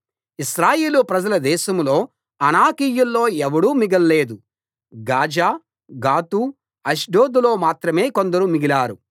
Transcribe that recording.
ఇశ్రాయేలు ప్రజల దేశంలో అనాకీయుల్లో ఎవడూ మిగల్లేదు గాజా గాతు అష్డోదులో మాత్రమే కొందరు మిగిలారు